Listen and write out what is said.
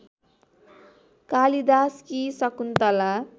कालिदासकी Shakuntala